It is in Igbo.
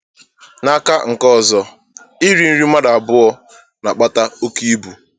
N’aka nke ọzọ, iri nri mmadụ abụọ na-akpata oke ibu.